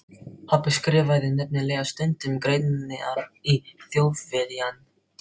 Pabbi skrifaði nefnilega stundum greinar í Þjóðviljann.